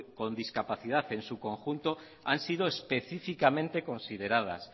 con discapacidad en su conjunto han sido específicamente consideradas